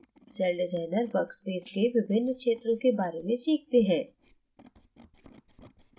CellDesigner workspace के विभिन्न क्षेत्रों के बारे में सीखते हैं